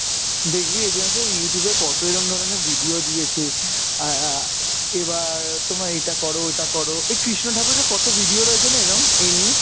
দেখবি এজন্য তো Youtube এ কত এরম ধরণের video দিয়েছে আহ এইবার তোমরা এটা করো ওটা করো, এই কৃষ্ণ ঠাকুরের কত video রয়েছে না এরম এনিয়ে?